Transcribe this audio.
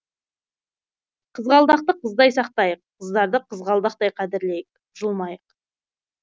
қызғалдақты қыздай сақтайық қыздарды қызғалдақтай қадірлейік жұлмайық